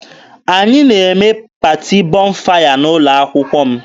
Anyị na-eme paati Bọnfaya n'ụlọ akwụkwọ m.